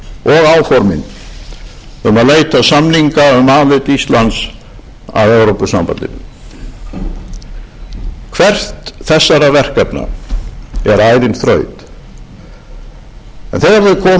og áformin um að leita samninga um aðild íslands að evrópusambandinu hvert þessara verkefna er ærin þraut en þegar þau koma